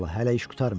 hələ iş qurtarmayıb.